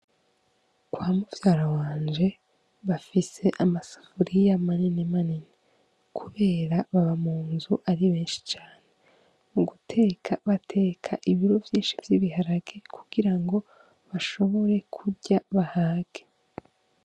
Kwa muvyara wanje bafise amasafuriya manini manini, kubera baba mu nzu ari benshi cane mu guteka bateka ibiro vyinshi vy'ibiharake kugira ngo bashobore kurya bahake.